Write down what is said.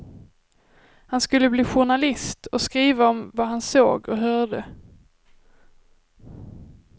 Han skulle bli journalist och skriva om vad han såg och hörde.